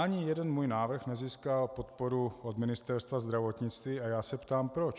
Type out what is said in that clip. Ani jeden můj návrh nezískal podporu od Ministerstva zdravotnictví a já se ptám proč.